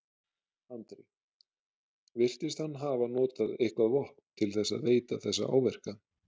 Andri: Virtist hann hafa notað eitthvað vopn til þess að veita þessa áverka?